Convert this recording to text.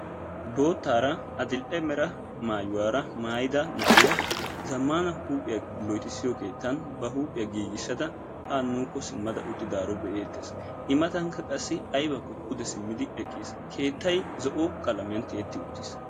Boottara adl"e mera maayuwara maayyida na'iyaa zammana huuphiyaa loyttissiyo keettan ba huuphiyaa giigissada ha nuukko simmada uttidaaro be'ettees; I maattankka qassi aybbakkopude simmidi eqqiis; keettay zo'o qalamiyaan tiyeti uttiis.